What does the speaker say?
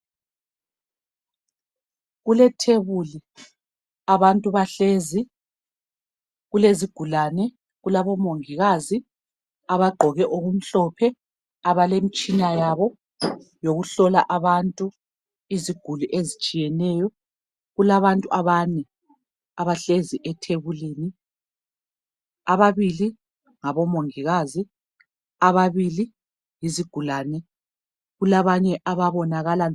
Kulethebuli, abantu bahlezi. Kulezigulane, kulabomongikazi, abagqoie okumhlophe. Abalemitshina yabo, yokuhlola abantu, iziguli ezitshiyeneyo. Kulabantu abane, abahlezi ethebulini. Ababili ngabomongikazi. Ababili, yizigulane. Kulabanye ababonakala be